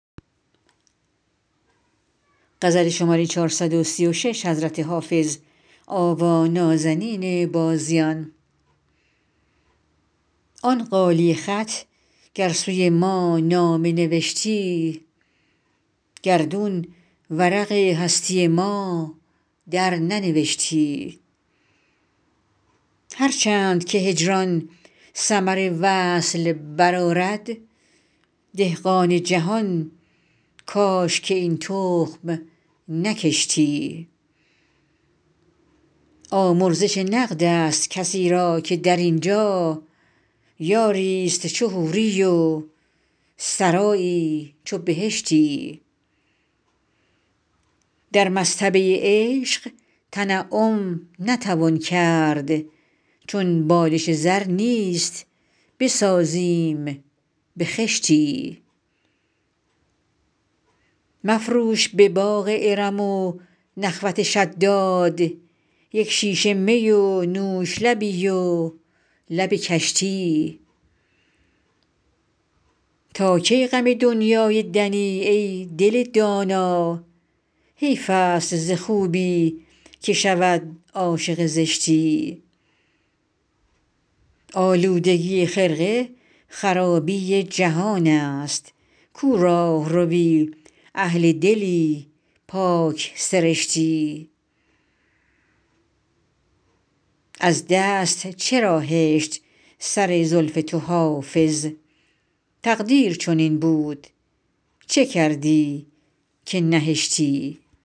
آن غالیه خط گر سوی ما نامه نوشتی گردون ورق هستی ما درننوشتی هر چند که هجران ثمر وصل برآرد دهقان جهان کاش که این تخم نکشتی آمرزش نقد است کسی را که در این جا یاری ست چو حوری و سرایی چو بهشتی در مصطبه عشق تنعم نتوان کرد چون بالش زر نیست بسازیم به خشتی مفروش به باغ ارم و نخوت شداد یک شیشه می و نوش لبی و لب کشتی تا کی غم دنیای دنی ای دل دانا حیف است ز خوبی که شود عاشق زشتی آلودگی خرقه خرابی جهان است کو راهروی اهل دلی پاک سرشتی از دست چرا هشت سر زلف تو حافظ تقدیر چنین بود چه کردی که نهشتی